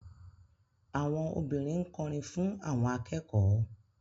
Àwọn obìnrin ń kọrin fún àwọn akẹ́kọ̀ọ́